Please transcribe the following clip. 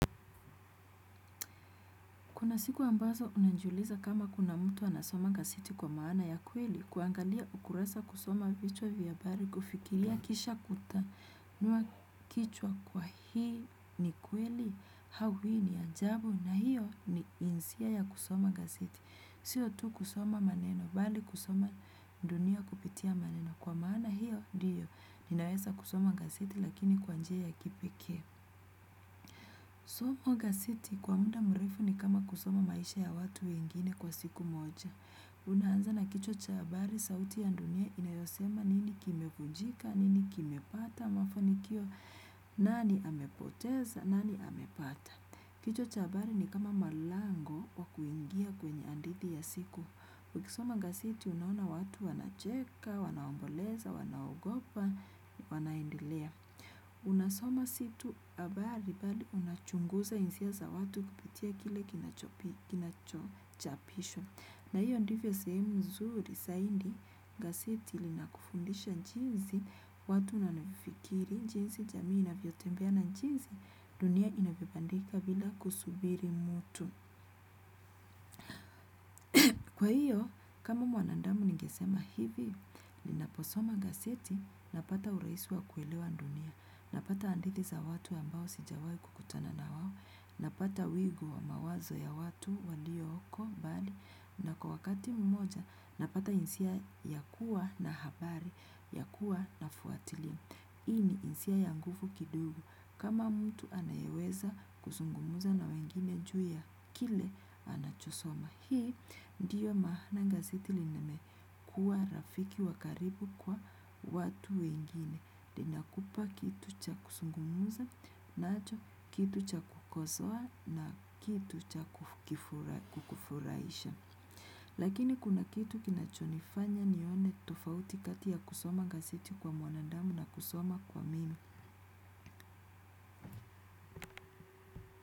Kuna siku ambazo unanjuliza kama kuna mtu anasoma gazeti kwa maana ya kweli, kuangalia ukuruza kusoma vichwa viyabari, kufikilia kisha kuta, nuakichwa kwa hii ni kweli, hau hii ni anjabu na hiyo ni insia ya kusoma gazeti. Siyo tu kusoma maneno, bali kusoma dunia kupitia maneno. Kwa maana hiyo, ndiyo, ninaweza kusoma gazeti lakini kwanjia ya kipeke. Soma gaseti kwa munda mrefu ni kama kusoma maisha ya watu wengine kwa siku moja. Unaanza na kichwa chabari sauti ya ndunye inayosema nini kimefujika, nini kimepata, mafanikio, nani amepoteza, nani amepata. Kichwa chabari ni kama malango wakuingia kwenye anditi ya siku. Kwa kusoma gaseti unaona watu wana cheka, wanaomboleza, wanaogopa, wanaendelea. Unasoma situ habari bali unachunguza insia za watu kupitia kile kinachochapishwa. Na hiyo ndivyo sehemu mzuri saindi gaseti linakufundisha njizi watu nanifikiri njizi jamii ina vyotembea na njizi dunia inabibandika bila kusubiri mutu. Kwa hiyo, kama mwanandamu nigesema hivi, ninaposoma gaseti, napata uraisi wa kuelewa ndunia, napata andithi za watu ambao sijawai kukutana na wawo, napata wigu wa mawazo ya watu waliyo oko, bali, na kwa wakati mmoja, napata insia ya kuwa na habari, ya kuwa na fuatili. Hii ni insia yangufu kidogo kama mtu anayeweza kusungumuza na wengine juu ya kile anachosoma. Hii ndiyo maana gaseti lineme kuwa rafiki wakaribu kwa watu wengine. Linakupa kitu cha kusungumuza, nacho kitu cha kukosoa na kitu cha kukufuraisha. Lakini kuna kitu kinachonifanya nione tofauti kati ya kusoma gazeti kwa mwanadamu na kusoma kwa mimi.